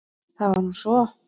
Það var nú svo.